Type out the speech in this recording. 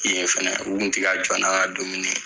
Yen fɛnɛ u kun tɛ ka jɔ n'an ka dumuni ye.